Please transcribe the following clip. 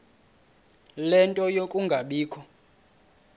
ie nto yokungabikho